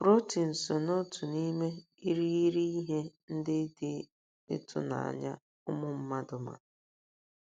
Protin so n’otu n’ime irighiri ihe ndị dị ịtụnanya ụmụ mmadụ ma.